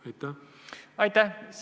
Aitäh!